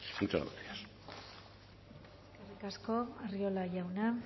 muchas gracias eskerrik asko arriola jauna